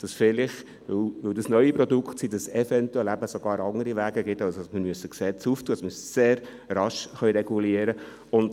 Vielleicht existieren auch noch andere Wege, die nicht über das Gesetz laufen, sodass sehr rasch reguliert werden kann.